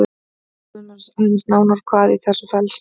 Skoðum aðeins nánar hvað í þessu felst.